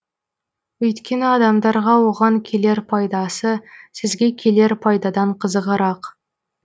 өйткені адамдарға оған келер пайдасы сізге келер пайдадан қызығырақ